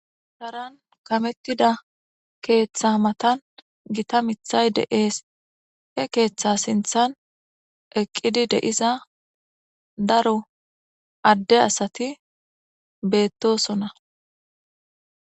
Taran kamettida keeththa matan gita mithay de'ees e keeththa sinthan eqqidi deiza daro adde asati beettosona